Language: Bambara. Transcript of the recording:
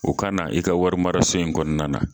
O ka na i ka warimaraso in kɔnɔna na